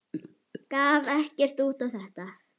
Gaf ekkert út á þetta.